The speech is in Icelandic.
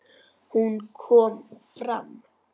Hún kom fram.